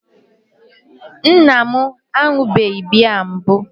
nna m aṅụbeghị biya mbụ